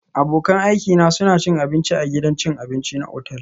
Abokan aikina suna cin abinci a gidan cin abinci na otal